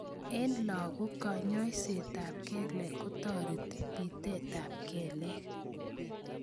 Eng lagok kanyoisetab kelek kotareti bitetab kelek